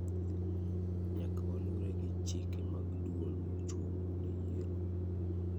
Nyaka walure gi chike mag duol mochung' ne yiero.